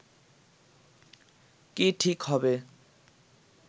কি ঠিক হবে